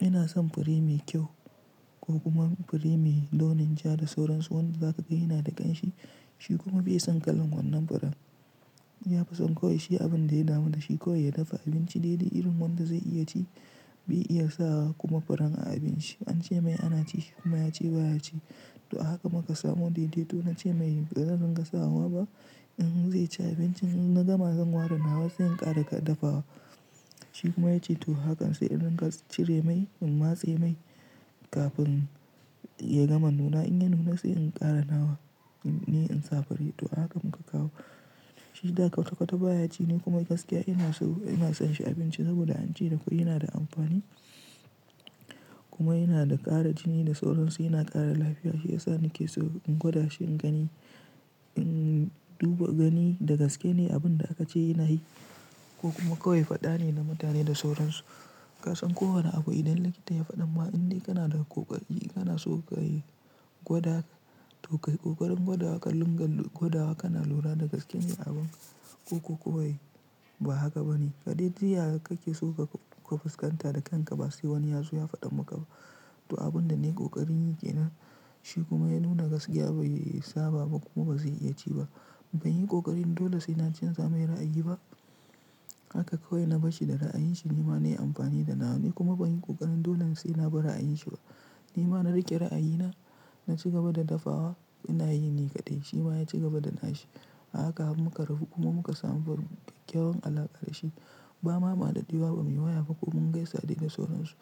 Ina son fure mai kyau ko kuma fure mai launin ja da sauransu wanda za ka ga yana da ƙanshi. Shi kuma bai san ƙalan wannan furen. Ya fi son kawai shi abin da ya damu da shi kawai ya dafa abinci daidai irin wanda zai iya ci. Bai iya sawa kuma furen a abinci, ance mai a nachi shi kuma yace ba ya ci to a haka muka samu daidaito na ce mai bazan ringa sawa ba in zai ci abincin in na gama zan ware nawa sai in ƙara da dafawa. Shi kuma ya ce to hakan sai in ringa cire mai in matse mai kafin ya gama nuna in ya nuna sai in ƙara nawa ni in sa fure. To a haka muka kawo, shi da ƙwata ƙwata ba ya ci ni kuma gaskiya ina so ina son shi a abinci saboda an ce da fure yana da amfani kuma yana da ƙara jini da sauransu yana ƙara lafiya. Shi ya sa nake so in gwada shi in gani in duba gani da gaske ne abun da aka ce yana yi ko kuma kawai faɗa ne na mutane da sauransu. Ka san kowani abu idan likita ya faɗa ma inda kana da ƙoƙari kana so ka yi gwada. To ka yi ƙoƙarin gwada wa ƙar rin ga gwada wa kana lura da gaskene abun ko kuwa ba haka ba ne. Kaɗai ji yaya kake so ka fuskanta da kanka ba sai wani yazo ya faɗa maka ba. To abun da nayi ƙoƙarin yi ke nan shi kuma ya nuna gaskiya bai saba ba kuma ba zai iya ci ba. Ban yi kokarin dole sai na chanza mai ra'ayi ba haka kawai na brashi da ra'ayinshi ni ma na yi amfani da na ni kuma ban yi ƙoƙarin dole sai na bar ra'ayinsa ba. Ni ma na riƙe ra'ayina na ci gaba da dafawa ina yi ni kaɗai shi ma ya ci gaba da na shi. A haka har muka rabu kuma muka samu kya kyawan alaƙa da shi. Bama mu wa dadewa ba muyi waya ba ko mugaisa dai da sauran su